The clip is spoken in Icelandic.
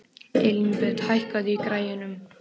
Elínbet, hækkaðu í græjunum.